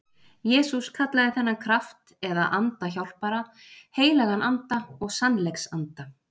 Jesús kallaði þennan kraft eða anda hjálpara, heilagan anda og sannleiksanda.